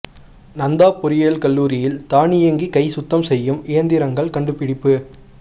நந்தா பொறியியல் கல்லூரியில் தானியங்கி கை சுத்தம் செய்யும் இயந்திரங்கள் கண்டுபிடிப்பு